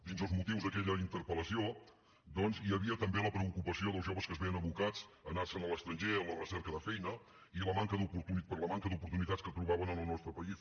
dins els motius d’aquella interpel·lació doncs hi havia també la preocupació dels joves que es veien abocats a anar se’n a l’estranger en la recerca de feina per la manca d’oportunitats que trobaven en el nostre país